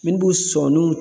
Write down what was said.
Minnu b'u sɔniw